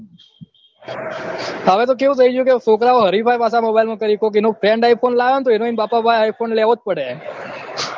હવે તો કેવું થઇ ગયું છે છોકરાઓ હરીફાઈ પાછા mobile માં કરે છે કોક એનો friend iphone લાયો હોય તો એને એન બાપા પાસે iphone લેવોજ પડે